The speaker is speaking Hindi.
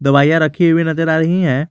दवाइयां रखी हुई नजर आ रही है।